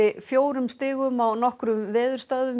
fjórum stigum á nokkrum veðurstöðvum